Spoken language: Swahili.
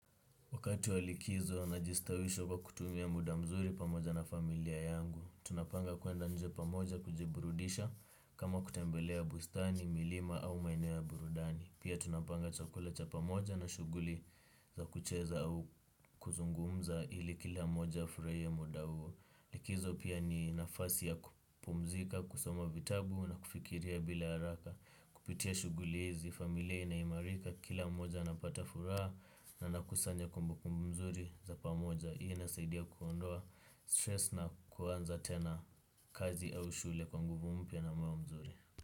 Wakati walikizo na jistawisho kwa kutumia muda mzuri pamoja na familia yangu. Tunapanga kuenda nje pamoja kujiburudisha kama kutembelea bustani, milima au maeneo ya burudani. Pia tunapanga chakula cha pamoja na shuguli za kucheza au kuzungumza ili kila moja afuraie muda huo. Likizo pia ni nafasi ya kupumzika, kusoma vitabu na kufikiria bila haraka. Kupitia shugulizi, familie inaimarika, kila mmoja anapata furaha na nakusanya kumbu kumbu nzuri za pamoja inasaidia kuondoa stress na kuwanza tena kazi au shule kwa nguvu mpia na mwa mzuri.